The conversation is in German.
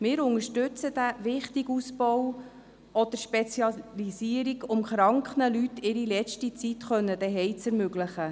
Wir unterstützen den wichtigen Ausbau dieser Spezialisierung, um den kranken Leuten ihre letzte Zeit zu Hause zu ermöglichen.